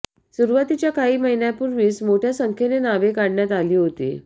सुरुवातीच्या काही महिन्यांपूर्वीच मोठ्या संख्येने नावे काढण्यात आली होती